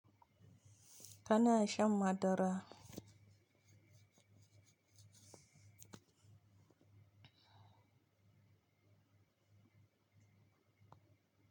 Kana shan madara.